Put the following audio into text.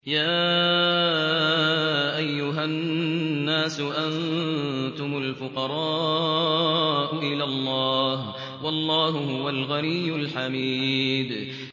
۞ يَا أَيُّهَا النَّاسُ أَنتُمُ الْفُقَرَاءُ إِلَى اللَّهِ ۖ وَاللَّهُ هُوَ الْغَنِيُّ الْحَمِيدُ